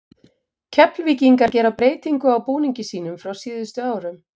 Keflvíkingar gera breytingu á búningi sínum frá síðustu árum.